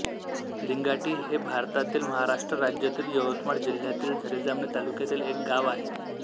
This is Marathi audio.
लिंगाटी हे भारतातील महाराष्ट्र राज्यातील यवतमाळ जिल्ह्यातील झरी जामणी तालुक्यातील एक गाव आहे